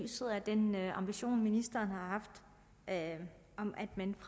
lyset af den ambition ministeren har haft om at man